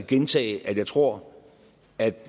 gentage at jeg tror at